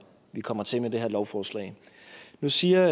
vi kommer til med det her lovforslag nu siger